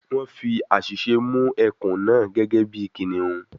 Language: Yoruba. Wọ́n fi àṣìṣe mú ẹkùn náà gẹ́gẹ́ bí kìnnìún